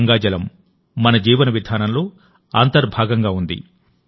గంగాజలం మన జీవన విధానంలో అంతర్భాగంగా ఉంది